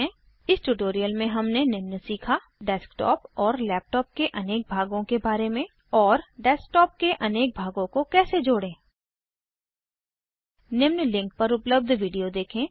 इस ट्यूटोरियल मे हमने निम्न सीखा डेस्कटॉप और लैपटॉप के अनेक भागों के बारे में और डेस्कटॉप के अनेक भागों को कैसे जोड़ें निम्न लिंक पर उपलब्ध वीडियो देखें